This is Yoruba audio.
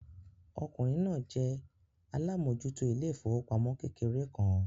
Ọkùnrin náà jẹ́ alámòjútó ilé ìfowópamọ́ kékeré kan.